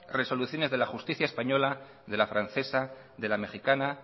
resoluciones de la justicia española de la francesa de la mejicana